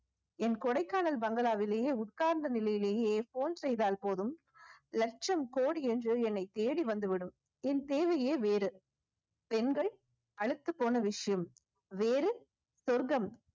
என் கொடைக்கானல் பங்களாவிலேயே உட்கார்ந்த நிலையிலேயே phone செய்தால் போதும் லட்சம் கோடி என்று என்னை தேடி வந்து விடும் என் தேவையே வேறு பெண்கள் அலுத்துப்போன விஷயம் வேறு சொர்க்கம்